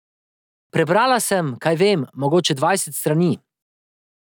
Prebrala sem, kaj vem, mogoče dvajset strani.